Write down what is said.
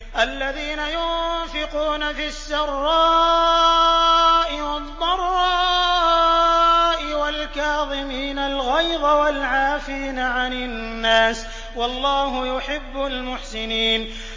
الَّذِينَ يُنفِقُونَ فِي السَّرَّاءِ وَالضَّرَّاءِ وَالْكَاظِمِينَ الْغَيْظَ وَالْعَافِينَ عَنِ النَّاسِ ۗ وَاللَّهُ يُحِبُّ الْمُحْسِنِينَ